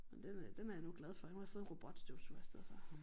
Men det ved jeg ikke den er jeg nu glad for nu har jeg fået en robotstøvsuger i stedet for